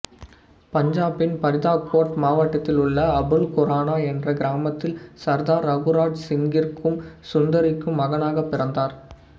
பஞ்சாபின் பரிதாகோட் மாவட்டத்திலுள்ள அபுல் குரானா என்ற கிராமத்தில் சர்தார் ரகுராஜ் சிங்குக்கும் சுந்திரிக்கும் மகனாக பிறந்தார்